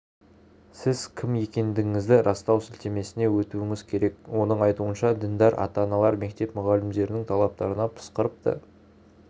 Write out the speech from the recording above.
сіз кім екендігіңізді растау сілтемесіне өтуіңіз керек оның айтуынша діндар ата-аналар мектеп мұғалімдерінің талаптарына пысқырып та